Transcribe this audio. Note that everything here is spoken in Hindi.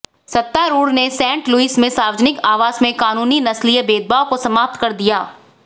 सत्तारूढ़ ने सेंट लुइस में सार्वजनिक आवास में कानूनी नस्लीय भेदभाव को समाप्त कर दिया